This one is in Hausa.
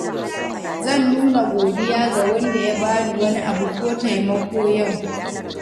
Zan nuna godiya ga wanda ya bani wani abu ko taimako yau.